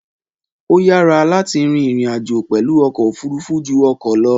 Ó yára láti rin ìrìn-àjò pẹ̀lú ọkọ̀ òfurufú ju ọkọ̀ lọ.